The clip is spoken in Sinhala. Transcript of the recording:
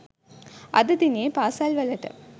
අද දිනයේදී පාසැල්වලට